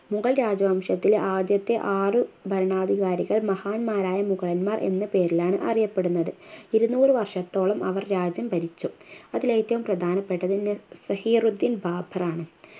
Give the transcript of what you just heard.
മുഗൾ രാജവംശത്തിൽ ആദ്യത്തെ ആറ് ഭരണാധികാരികൾ മഹാന്മാരായ മുഗളന്മാർ എന്ന പേരിലാണ് അറിയപ്പെടുന്നത് ഇരുന്നൂറു വർഷത്തോളം അവർ രാജ്യം ഭരിച്ചു അതിലേറ്റവും പ്രധാനപ്പെട്ടത് സഹീറുദ്ദീൻ ബാബറാണ്